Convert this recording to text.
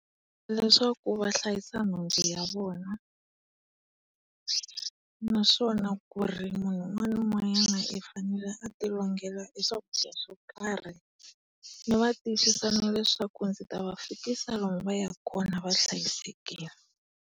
Leswaku va hlayisa nhundzu ya vona, naswona ku ri munhu un'wana na un'wanyana i fanele a tilongela e swakudya swo karhi. Ndzi va tiyisisa na leswaku ndzi ta va fikisa na lomu va yaka kona va hlayisekile.